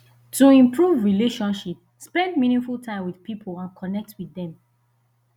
to improve relationship spend meaningful time with pipo and connect with dem